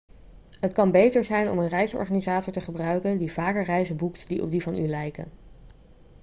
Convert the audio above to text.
het kan beter zijn om een reisorganisator te gebruiken die vaker reizen boekt die op die van u lijken